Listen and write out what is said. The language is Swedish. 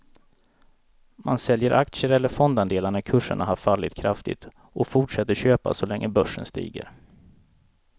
Man säljer aktier eller fondandelar när kurserna har fallit kraftigt och fortsätter köpa så länge börsen stiger.